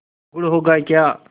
गुड़ होगा क्या